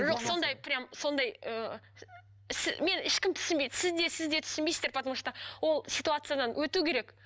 жоқ сондай прям сондай ыыы мені ешкім түсінбейді сіз де сіз де түсінбейсіздер потому что ол ситуациядан өту керек